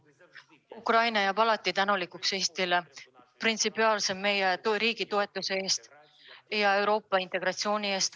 Ukraina jääb alati Eestile tänulikuks meie riigi toetamise eest ja Euroopa integratsiooni eest.